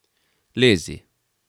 Lezi!